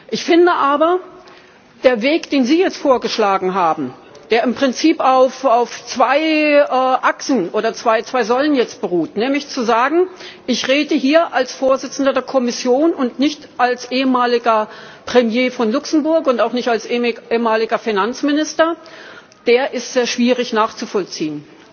Ich finde aber, der Weg, den Sie jetzt vorgeschlagen haben, der im Prinzip auf zwei Achsen oder auf zwei Säulen beruht nämlich zu sagen, ich rede hier als Präsident der Kommission und nicht als ehemaliger Premier von Luxemburg und auch nicht als ehemaliger Finanzminister der ist sehr schwierig nachzuvollziehen.